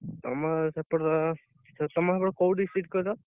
ତମ ସେପଟ ତମ ସେପଟ କୋଉ district କହିଲ?